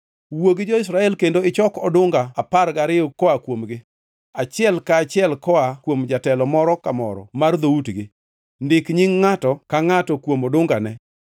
“Wuo gi jo-Israel kendo ichok odunga apar gariyo koa kuomgi, achiel ka achiel koa kuom jatelo moro ka moro mar dhoutgi. Ndik nying ngʼato ka ngʼato kuom odungane.